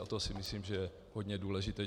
A to si myslím, že je hodně důležité.